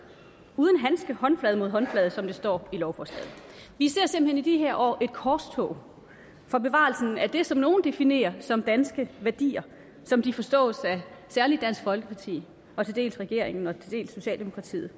uden handske håndflade mod håndflade som der står i lovforslaget vi ser simpelt hen i de her år et korstog for bevarelsen af det som nogle definerer som danske værdier som de forstås af særlig dansk folkeparti og til dels regeringen og til dels socialdemokratiet